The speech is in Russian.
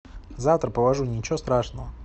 завтра положу ничего страшного